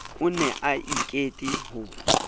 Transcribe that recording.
o ne a ikete ho